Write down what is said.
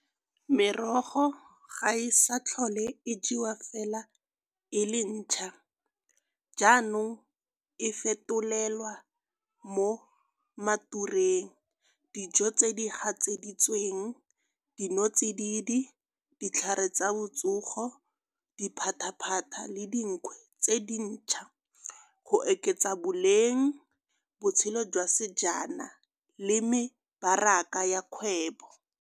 Merogo ga e sa tlhole e jewa fela e le ntšhwa. Jaanong e fetolelwa mo matureng, dijo tse di gatseditsweng, dinotsididi, ditlhare tsa botsogo, diphataphata le dinkwe tse dintšhwa. Go oketsa boleng, botshelo jwa sejana le mebaraka ya kgwebo.